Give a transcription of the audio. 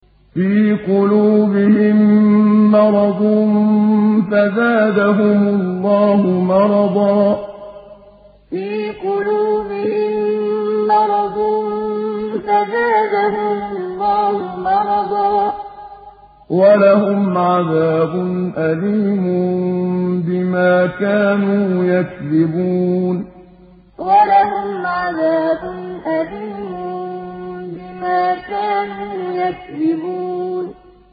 فِي قُلُوبِهِم مَّرَضٌ فَزَادَهُمُ اللَّهُ مَرَضًا ۖ وَلَهُمْ عَذَابٌ أَلِيمٌ بِمَا كَانُوا يَكْذِبُونَ فِي قُلُوبِهِم مَّرَضٌ فَزَادَهُمُ اللَّهُ مَرَضًا ۖ وَلَهُمْ عَذَابٌ أَلِيمٌ بِمَا كَانُوا يَكْذِبُونَ